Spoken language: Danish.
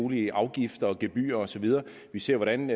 mulige afgifter gebyrer og så videre vi ser hvordan